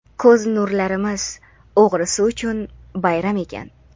ko‘z nurlarimiz "o‘g‘risi" uchun bayram ekan.